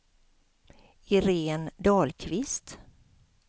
Irene Dahlqvist